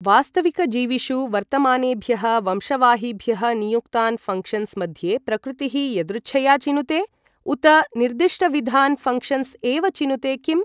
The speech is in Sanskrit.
वास्तविकजीविषु वर्तमानेभ्यः वंशवाहिभ्यः नियुक्तान् फङ्क्षन्स् मध्ये प्रकृतिः यदृच्छया चिनुते? उत निर्दिष्टविधान् फङ्क्षन्स् एव चिनुते किम्?